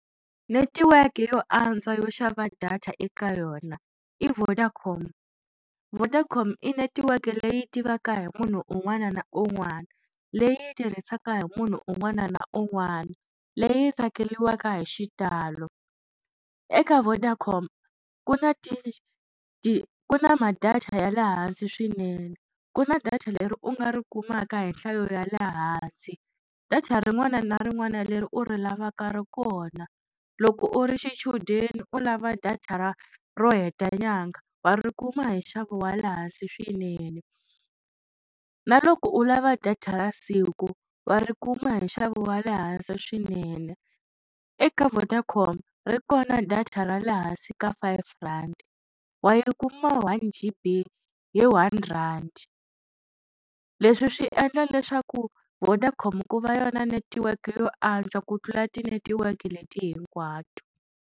Netiweke yo antswa yo xava data eka yona i Vodacom, Vodacom i netiweke leyi tivaka hi munhu un'wana na un'wana leyi tirhisaka hi munhu un'wana na un'wana leyi tsakeliwaka hi xitalo eka Vodacom ku na ku na ma data ya le hansi swinene ku na data leri u nga ri kumaka hi nhlayo ya le hansi data rin'wana na rin'wana leri u ri lavaka ri kona loko u ri xichudeni u lava data ra ro heta nyanga wa ri kuma hi nxavo wa le hansi swinene na loko u lava data ra siku wa ri kuma hi nxavo wa le hansi swinene eka Vodacom ri kona data ra le hansi ka five rand wa yi kuma One G_B hi one rand leswi swi endla leswaku Vodacom ku va yona netiweke yo antswa ku tlula tinetiweke leti hinkwato.